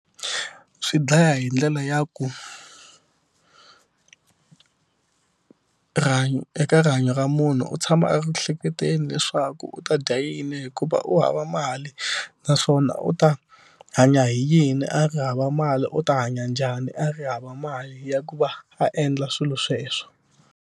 Swi dlaya hi ndlela ya ku rihanyo eka rihanyo ra munhu u tshama a ri hleketeni leswaku u ta dya yini hikuva u hava mali naswona u ta hanya hi yini a ri hava mali u ta hanya njhani a ri hava mali ya ku va a endla swilo sweswo.